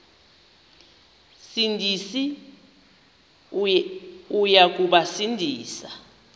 sindisi uya kubasindisa